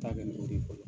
Taa bɛ o de bolo